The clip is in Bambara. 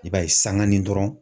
I b'a ye sanga ni dɔrɔnw